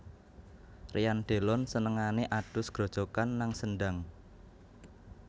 Ryan Delon senengane adhus grojogan nang sendhang